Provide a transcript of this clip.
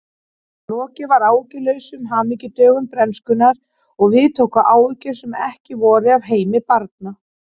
Lokið var áhyggjulausum hamingjudögum bernskunnar og við tóku áhyggjur sem ekki voru af heimi barna.